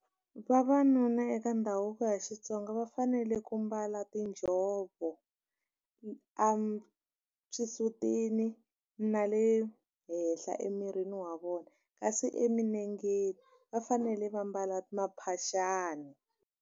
Vavanuna eka ndhavuko ya Xitsonga va fanele ku mbala tinjhovo exisutini na le henhla emirini wa vona kasi emilengeni va fanele va mbala maphaxani.